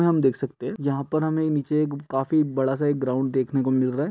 मे हम देख सकते हैं। यहाँ पर हमें नीचे काफी बड़ा सा एक ग्राउंड देखने को मिल रहा है।